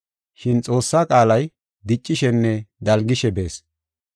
Shin Xoossaa qaalay diccishenne dalgishe bees.